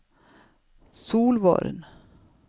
Solvorn